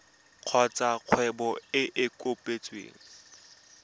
kgotsa kgwebo e e kopetsweng